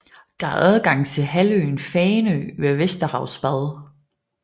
Der er adgang til halvøen ved Fanø Vesterhavsbad